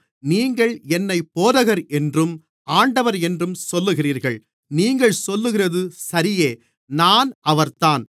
நீங்கள் என்னைப் போதகர் என்றும் ஆண்டவர் என்றும் சொல்லுகிறீர்கள் நீங்கள் சொல்லுகிறது சரியே நான் அவர்தான்